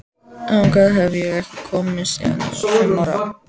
Þangað hef ég ekki komið síðan ég var fimm ára.